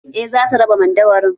Eh za su raba madauwarin